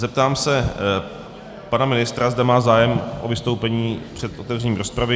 Zeptám se pana ministra, zda má zájem o vystoupení před otevřením rozpravy.